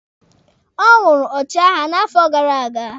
Ọ wụrụ ọchịagha n'afọ gara aga.